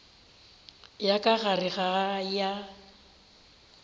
ya ka gare ya go